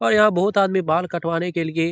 और यहाँ बहुत आदमी बाल कटवाने के लिए --